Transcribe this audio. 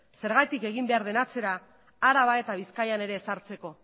zergatik egin behar den atzera araba eta bizkaian ere ezartzeko